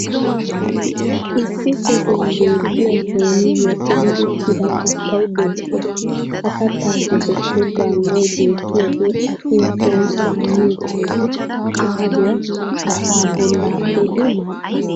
issi sohuwan beettiya joynniya kummi uttida kattay beetees. ha kattaa giddoppe banggay beettiyaagee ashuwaa, oyssaa miyoogaappe aaruwaa asaa bolaa keehi maadees.